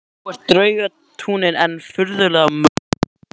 Þó er draugatrúin enn furðanlega mögnuð.